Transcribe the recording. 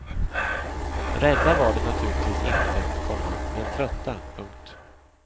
Rädda var de naturligtvis inte, komma men trötta. punkt